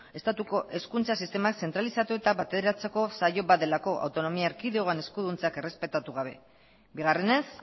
estatuko hezkuntza sistema zentralizatu eta bateratzeko saio bat delako autonomia erkidegoan eskuduntzak errespetatu gabe bigarrenez